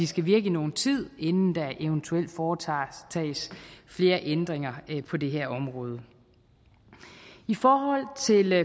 skal virke i nogen tid inden der eventuelt foretages flere ændringer på det her område i forhold til